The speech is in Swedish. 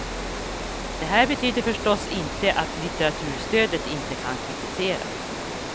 Det här betyder förstås inte att litteraturstödet inte kan kritiseras.